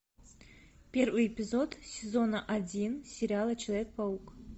первый эпизод сезона один сериала человек паук